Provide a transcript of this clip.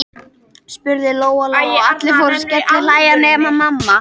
spurði Lóa Lóa, og allir fóru að skellihlæja nema mamma.